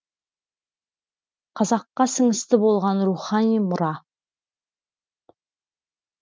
қазаққа сіңісті болған рухани мұра